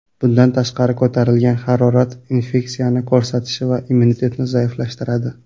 Bundan tashqari ko‘tarilgan harorat infeksiyani ko‘rsatishi va immunitetni zaiflashtiradi.